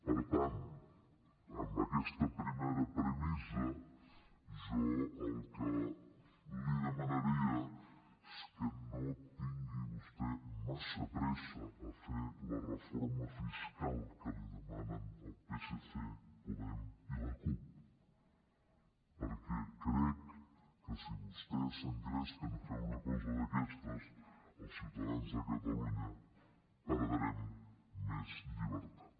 per tant amb aquesta primera premissa jo el que li demanaria és que no tingués vostè massa pressa a fer la reforma fiscal que li demanen el psc podem i la cup perquè crec que si vostès s’engresquen a fer una cosa d’aquestes els ciutadans de catalunya perdrem més llibertat